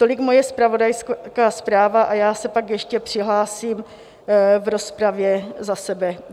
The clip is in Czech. Tolik moje zpravodajská zpráva a já se pak ještě přihlásím v rozpravě za sebe.